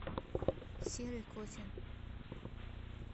серый котин